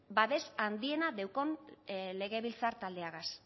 babes handiena daukan legebiltzar taldeagaz